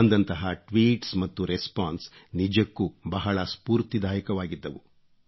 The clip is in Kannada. ಬಂದಂತಹ ಟ್ವೀಟ್ಸ್ ಮತ್ತು ರೆಸ್ಪಾನ್ಸ್ ನಿಜಕ್ಕೂ ಬಹಳ ಸ್ಫೂರ್ತಿದಾಯಕವಾಗಿದ್ದವು